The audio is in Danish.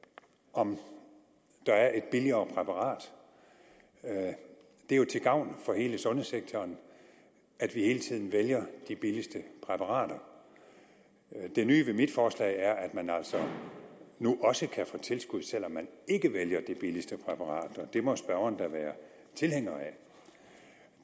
om der er et billigere præparat det er jo til gavn for hele sundhedssektoren at vi hele tiden vælger de billigste præparater det nye ved mit forslag er at man altså nu også kan få tilskud selv om man ikke vælger det billigste præparat og det må spørgeren da være tilhænger af